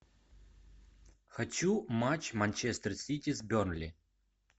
хочу матч манчестер сити с бернли